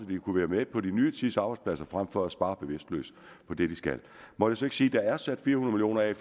de kunne være med på den nye tids arbejdspladser frem for at spare bevidstløst på det de skal må jeg så ikke sige der er sat fire hundrede